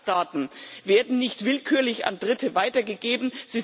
Fluggastdaten werden nicht willkürlich an Dritte weitergegeben.